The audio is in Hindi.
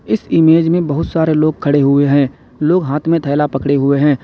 इस इमेज में बहुत सारे लोग खड़े हुए हैं लोग हाथ में थैला पकड़े हुए हैं।